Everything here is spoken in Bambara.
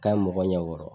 K'a ye mɔgɔ ɲɛ wɔɔrɔ kɔrɔ